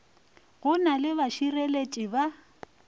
go na le bašireletši ba